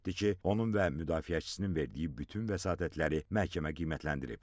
Qeyd etdi ki, onun və müdafiəçisinin verdiyi bütün vəsatətləri məhkəmə qiymətləndirib.